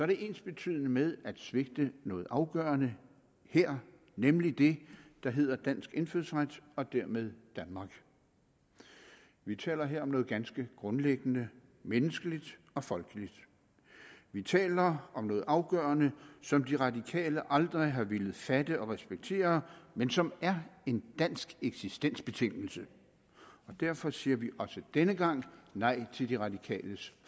det ensbetydende med at svigte noget afgørende her nemlig det der hedder dansk indfødsret og dermed danmark vi taler her om noget ganske grundlæggende menneskeligt og folkeligt vi taler om noget afgørende som de radikale aldrig har villet fatte og respektere men som er en dansk eksistensbetingelse derfor siger vi også denne gang nej til de radikales